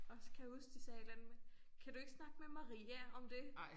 Og så kan jeg huske de sagde et eller andet med kan du ikke snakke med Maria om det